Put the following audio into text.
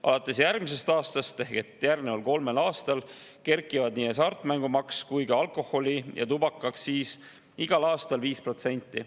Alates järgmisest aastast ehk järgneval kolmel aastal kerkivad nii hasartmängumaks kui ka alkoholi- ja tubakaaktsiis igal aastal 5%.